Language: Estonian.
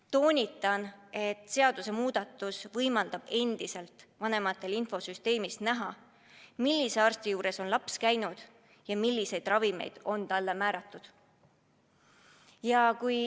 Toonitan, et seadusemuudatus võimaldab endiselt vanematel infosüsteemist näha, millise arsti juures on laps käinud ja milliseid ravimeid on talle määratud.